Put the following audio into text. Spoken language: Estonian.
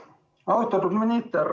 Austatud minister!